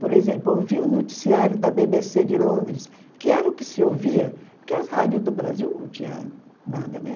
Por exemplo, ouvi o noticiário da bê bê cê de Londres, que era o que se ouvia, porque as rádios do Brasil não tinham nada, né?